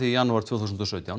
í janúar tvö þúsund og sautján